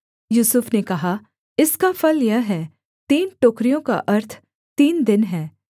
यूसुफ ने कहा इसका फल यह है तीन टोकरियों का अर्थ तीन दिन है